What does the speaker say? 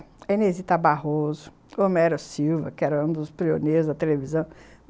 A Inês Itabarroso, Homero Silva, que era um dos prioneiros da televisão.